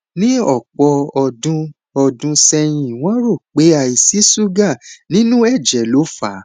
ní ọpọ ọdún ọdún sẹyìn wọn rò pé àìsí ṣúgà nínú ẹjẹ ló fà á